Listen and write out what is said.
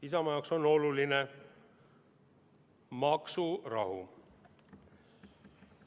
Isamaa jaoks on oluline maksurahu.